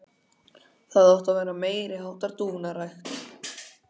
Það átti að vera meiri háttar dúfnarækt.